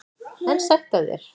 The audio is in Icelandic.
En sætt af þér!